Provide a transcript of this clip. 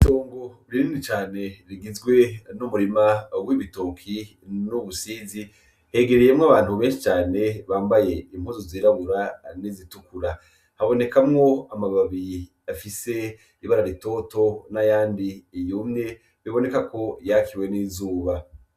Iongo ririni cane rigizwe n'umurima woibitoki n'ubusizi hegereyemwo abantu bbenshi cane bambaye impuzu zirabura n'izitukura habonekamwo amababi afise ibara ritoto na yandi iyumye biboneka ko yakiwe n'izuba.